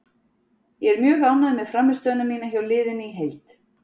Ég er mjög ánægður með frammistöðuna mína og hjá liðinu í heild.